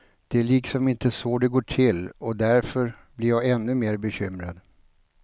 Det är liksom inte så det går till, och därför blir jag ännu mer bekymrad.